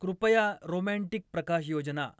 कृपया रोमँटिक प्रकाशयोजना